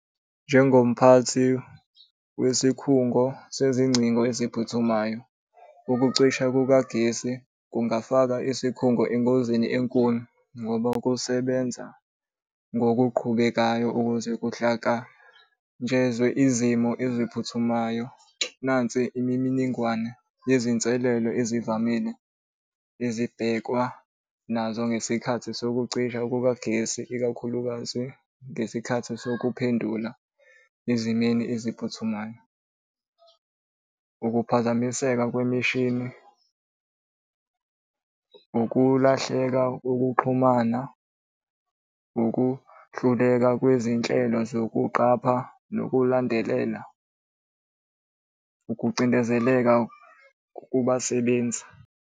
Njengomphathi wesikhungo sezingcingo esiphuthumayo, ukucisha kukagesi kungafaka isikhungo engozini enkulu ngoba kusebenza ngokuqhubekayo ukuze kuhlangatshezwe izimo eziphuthumayo. Nansi imininingwane yezinselelo ezivamile ezibhekwa nazo ngesikhathi sokucisha kukagesi, ikakhulukazi ngesikhathi sokuphendula ezimeni eziphuthumayo. Ukuphazamiseka kwemishini, ukulahleka kokuxhumana, ukuhluleka kwizinhlelo zokuqapha nokulandela, ukucindezeleka kubasebenzi.